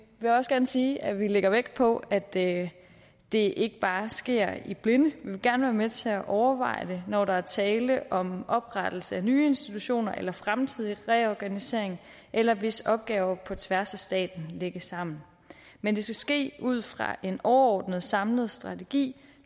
vil også gerne sige at vi lægger vægt på at det det ikke bare sker i blinde vi vil gerne være med til at overveje det når der er tale om oprettelse af nye institutioner eller fremtidig reorganisering eller hvis opgaver på tværs af staten lægges sammen men det skal ske ud fra en overordnet samlet strategi